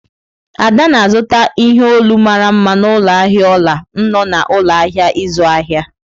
Ada na-azụta ihe olu mara mma n'ụlọ ahịa ọla nno na ụlọ ahịa ịzụ ahịa.